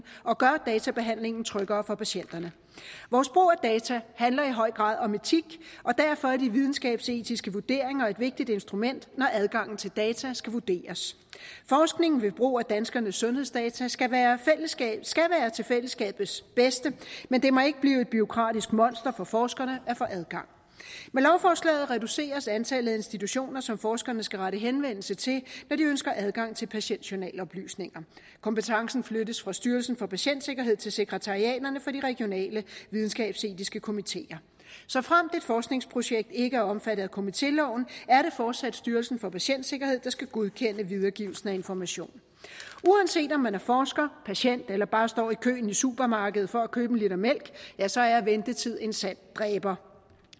og gør databehandlingen tryggere for patienterne vores brug af data handler i høj grad om etik og derfor er de videnskabsetiske vurderinger et vigtigt instrument når adgangen til data skal vurderes forskning ved brug af danskernes sundhedsdata skal være til fællesskabets bedste men det må ikke blive et bureaukratisk monster for forskerne at få adgang med lovforslaget reduceres antallet af institutioner som forskerne skal rette henvendelse til når de ønsker adgang til patientjournaloplysninger kompetencen flyttes fra styrelsen for patientsikkerhed til sekretariaterne for de regionale videnskabsetiske komiteer såfremt et forskningsprojekt ikke er omfattet af komitéloven er det fortsat styrelsen for patientsikkerhed der skal godkende videregivelsen af information uanset om man er forsker patient eller bare står i køen i supermarkedet for at købe en liter mælk ja så er ventetid en sand dræber